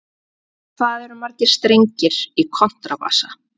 Hvað eru margir strengir í kontrabassa?